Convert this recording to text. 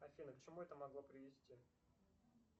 афина к чему это могло привести